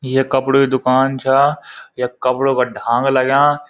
ये कपड़ु की दूकान छा यख कपड़ों का ढांग लग्याँ।